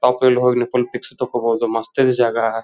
Soft wheel ಹೋಗ್ಲಿ full pitch ತಗೋಬಹುದು ಮಸ್ತ್ ಇದೆ ಜಾಗ.